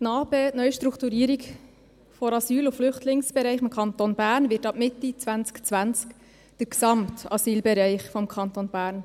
NA-BE, die Neustrukturierung des Asyl- und Flüchtlingsbereichs, wird ab Mitte 2020 den gesamten Asylbereich des Kantons Bern